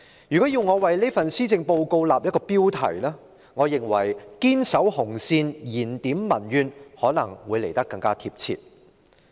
如果要我為這份施政報告訂立一個標題，我認為"堅守紅線燃點民怨"會來得更貼切。